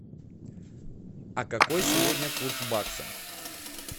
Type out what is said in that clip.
а какой сегодня курс бакса